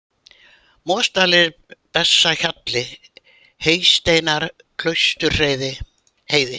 Mosadalir, Bessahjalli, Heysteinar, Klaustursheiði